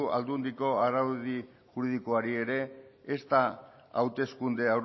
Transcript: aldundiko araudi juridikoari ere ezta hauteskunde